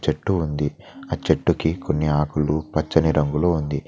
చెట్టు ఉంది ఆ చెట్టుకు కొన్ని ఆకులు పచ్చని రంగులో ఉంది.